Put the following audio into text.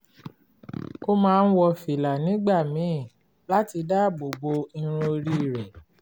ó máa ń wọ fìlà nígbà míì láti dáàbò bo irun orí rẹ̀